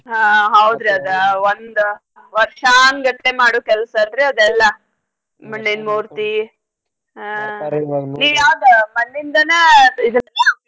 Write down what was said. ಹಾ ಒಂದ್ ವರ್ಷಾನ್ಗಟ್ಲೆ ಮಾಡು ಕೆಲ್ಸ ಅಲ್ರೀ ಅದೆಲ್ಲ ನೀವ್ ಯಾವ್ದ ಮಣ್ಣಿಂದನ ಇದ .